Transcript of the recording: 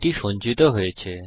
এটি সঞ্চিত হয়েছে